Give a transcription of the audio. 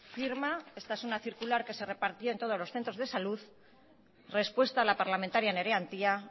firma esta es una circular que se repartió en todos los centros de salud respuesta a la parlamentaria nerea antía